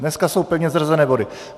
Dnes jsou pevně zařazené body.